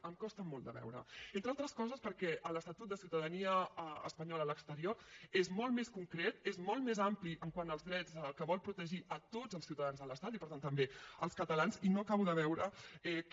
em costa molt de veure ho entre altres coses perquè l’estatut de ciutadania espanyola a l’exterior és molt més concret és molt més ampli quant als drets que vol protegir a tots els ciutadans de l’estat i per tant també els catalans i no acabo de veure que